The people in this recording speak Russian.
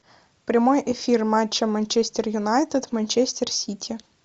прямой эфир матча манчестер юнайтед манчестер сити